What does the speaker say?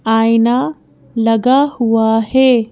आईना लगा हुआ है।